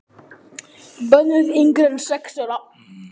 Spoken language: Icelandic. Bönnuð yngri en sex ára.